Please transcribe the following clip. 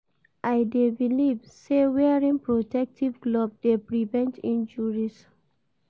I dey believe say wearing protective glove dey prevent injuries.